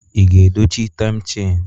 Ị ga-edochi taim chaini?